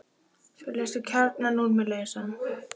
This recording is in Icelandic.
Svo léstu kjarnann úr mér lausan.